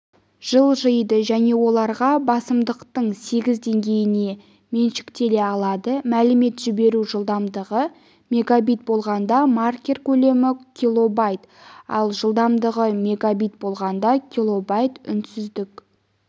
жылжиды және оларға басымдықтың сегіз деңгейіне меншіктеле алады мәлімет жіберу жылдамдығы мегабит болғанда маркер көлемі килобайт ал жылдамдығы мегабит болғанда килобайт үнсіздік